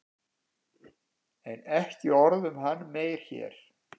En ekki orð um hann meir hér.